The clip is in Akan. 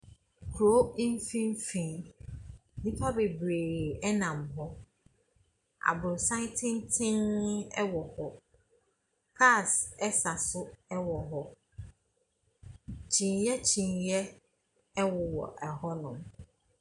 Kuro mfimfin, nnipa bebree nam hɔ, abrɔsan tenten bi wɔ hɔ, cars sa so wɔ hɔ, kyineɛ kyineɛ wowɔ hɔnom.